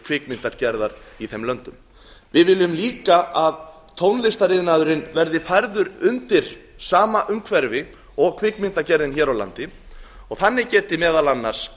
kvikmyndagerðar í þeim löndum við viljum líka að tónlistariðnaðurinn verði færður undir sama umhverfi og kvikmyndagerðin hér á landi og þannig geti meðal annars